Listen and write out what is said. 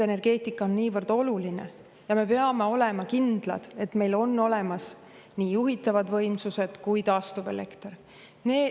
Energeetika on väga oluline ja me peame olema kindlad, et meil on olemas nii juhitavad võimsused kui ka taastuvelekter.